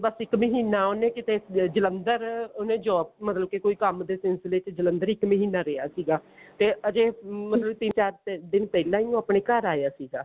ਬੱਸ ਇੱਕ ਮਹੀਨਾ ਉਹਨੇ ਕਿਤੇ ਜ੍ਲੰਧਰ ਉਹਨੇ job ਮਤਲਬ ਕਿ ਕੋਈ ਕੰਮ ਦੇ ਸਿਲਸਿਲੇ ਵਿੱਚ ਜਲੰਧਰ ਇੱਕ ਮਹੀਨਾ ਰਿਹਾ ਸੀਗਾ ਤੇ ਹਜੇ ਮਤਲਬ ਤਿੰਨ ਚਾਰ ਦਿਨ ਪਹਿਲਾਂ ਹੀ ਉਹ ਆਪਣੇ ਘਰ ਆਇਆ ਸੀਗਾ